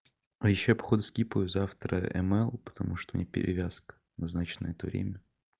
а ещё я походу скипаю завтра эмаил потому что у меня перевязка назначена на это время